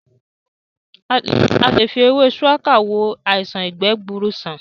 A lè fi ewé shuwaka wo àìṣàn ìgbẹ́ gbuuru sàn